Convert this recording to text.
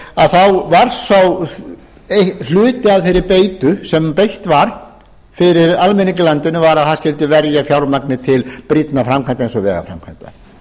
að þá var þá hluti af þeirri beitu sem beitt var fyrir almenning í landinu var að það skyldi verja fjármagni til brýnna framkvæmda eins og vegaframkvæmda